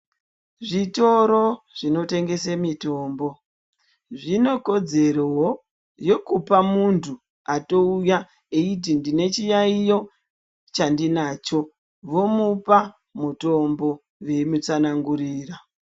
Zvitoro zvinotengese mitombo, zvinokodzerowo yekupa muntu atouya eyiti ndine chiyayiyo chandinacho, vomupa mutombo veyimutsanangurira.